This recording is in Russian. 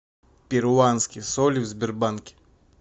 перуанский соль в сбербанке